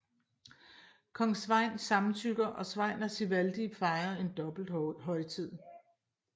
Kong Sveinn samtykker og Sveinn og Sigvaldi fejrer en dobbelthøjtid